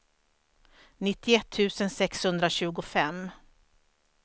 nittioett tusen sexhundratjugofem